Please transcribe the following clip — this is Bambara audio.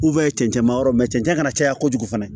cɛncɛn ma yɔrɔ cɛncɛn kana caya kojugu fana